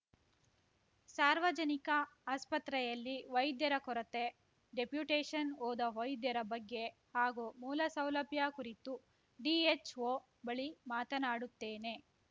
ಸಾರ್ವಜನಿಕ ಆಸ್ಪತ್ರೆಯಲ್ಲಿ ವೈದ್ಯರ ಕೊರತೆ ಡೆಪ್ಯೂಟೇಷನ್‌ ಹೋದ ವೈದ್ಯರ ಬಗ್ಗೆ ಹಾಗೂ ಮೂಲಸೌಲಭ್ಯ ಕುರಿತು ಡಿಎಚ್‌ಓ ಬಳಿ ಮಾತನಾಡುತ್ತೇನೆ